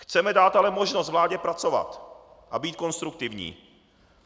Chceme dát ale možnost vládě pracovat a být konstruktivní.